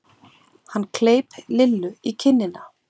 Hann kleip Lillu í kinnina.